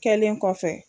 Kɛlen kɔfɛ